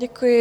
Děkuji.